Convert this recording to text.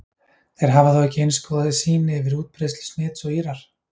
Þeir hafa þó ekki eins góða sýn yfir útbreiðslu smits og Írar.